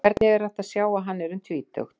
Og hvernig er hægt að sjá að hann er um tvítugt?